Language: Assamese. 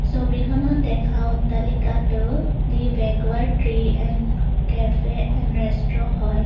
ছবিখনত দেখা অট্টালিকাটো the regwad tree and cafe and resto হয়।